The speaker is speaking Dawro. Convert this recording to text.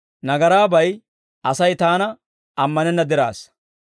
Nagaraabay Asay Taana ammanenna diraassa.